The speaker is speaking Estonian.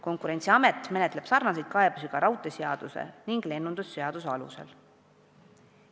Konkurentsiamet menetleb analoogilisi kaebusi ka raudteeseaduse ning lennundusseaduse alusel.